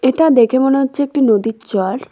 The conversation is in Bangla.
এটা দেখে মনে হচ্ছে একটা নদীর চড়।